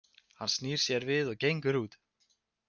Hann snýr sér við og gengur út.